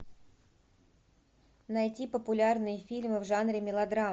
найти популярные фильмы в жанре мелодрама